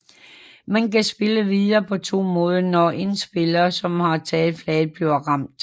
Man kan spille videre på to måder når en spiller som har taget flaget bliver ramt